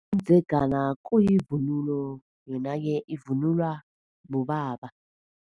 Umdzegana kuyivunulo, yona-ke ivunulwa bobaba.